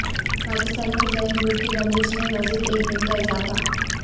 پاکستانی فضائی حدود کی بندش میں مزید ایک دن کا اضافہ